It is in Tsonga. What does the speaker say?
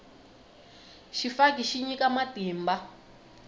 xifaki xi nyika matimba